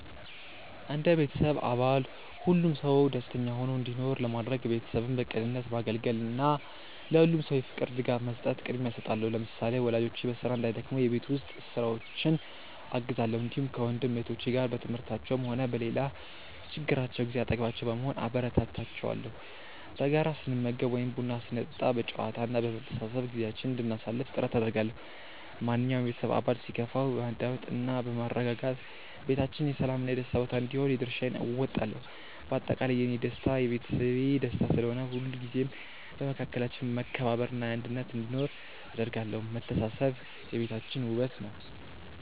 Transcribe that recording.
እንደ ቤተሰብ አባል ሁሉም ሰው ደስተኛ ሆኖ እንዲኖር ለማድረግ፣ ቤተሰቤን በቅንነት ማገልገልን እና ለሁሉም ሰው የፍቅር ድጋፍ መስጠትን ቅድሚያ እሰጣለሁ። ለምሳሌ፣ ወላጆቼ በስራ እንዳይደክሙ የቤት ውስጥ ስራዎችን አግዛለሁ፣ እንዲሁም ከወንድም እህቶቼ ጋር በትምህርታቸውም ሆነ በሌላ ችግራቸው ጊዜ አጠገባቸው በመሆን አበረታታቸዋለሁ። በጋራ ስንመገብ ወይም ቡና ስንጠጣ በጨዋታ እና በመተሳሰብ ጊዜያችንን እንድናሳልፍ ጥረት አደርጋለሁ። ማንኛውም የቤተሰብ አባል ሲከፋው በማዳመጥ እና በማረጋጋት ቤታችን የሰላም እና የደስታ ቦታ እንዲሆን የድርሻዬን እወጣለሁ። በአጠቃላይ፣ የእኔ ደስታ የቤተሰቤ ደስታ ስለሆነ፣ ሁልጊዜም በመካከላችን መከባበር እና አንድነት እንዲኖር አደርጋለሁ። መተሳሰብ የቤታችን ውበት ነው።